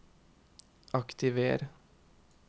aktiver